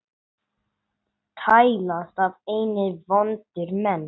tælast af einni vondir menn